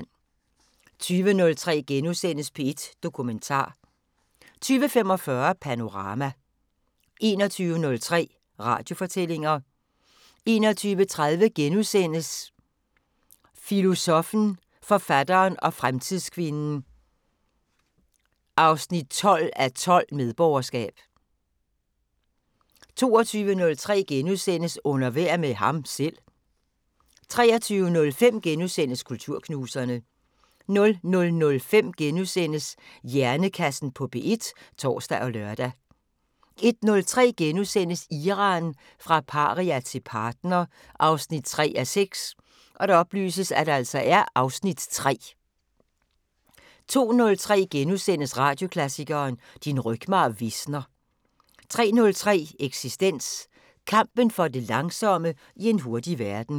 20:03: P1 Dokumentar * 20:45: Panorama 21:03: Radiofortællinger 21:30: Filosoffen, forfatteren og fremtidskvinden 12:12: Medborgerskab * 22:03: Under vejr med ham selv * 23:05: Kulturknuserne * 00:05: Hjernekassen på P1 *(tor og lør) 01:03: Iran – fra paria til partner 3:6 (Afs. 3)* 02:03: Radioklassikeren: Din rygmarv visner * 03:03: Eksistens: Kampen for det langsomme i en hurtig verden